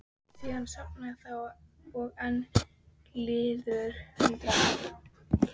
Síðan sofnaði það og enn liðu hundrað ár.